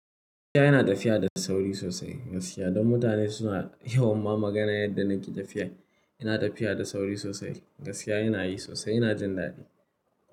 Yana tafiya da sauri sosai. Gaskiya, don mutane suna yawan ma magana yadda na ƙi tafiyar. Yana tafiya da sauri sosai. Gashiya yana yi sosai, yana jin daɗi.